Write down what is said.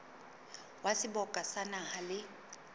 wa seboka sa naha le